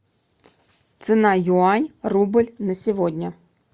цена юань рубль на сегодня